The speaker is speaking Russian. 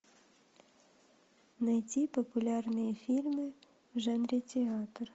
найти популярные фильмы в жанре театр